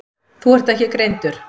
Þú ert ekki greindur.